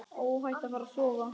Óhætt að fara að sofa.